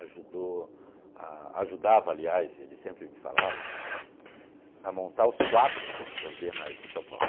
ajudou a ajudava, aliás, ele sempre me falava, a montar os quadros das Bienais em São Paulo.